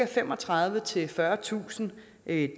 femogtredivetusind fyrretusind dage